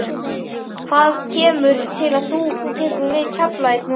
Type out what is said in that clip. Hvað kemur til að þú tekur við Keflavík núna?